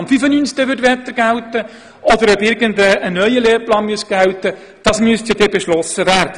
Ob der Lehrplan 95 weiterhin gälte oder ob irgendein neuer Lehrplan gelten würde, müsste dann beschlossen werden.